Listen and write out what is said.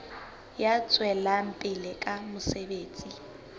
ya tswelang pele ka mosebetsi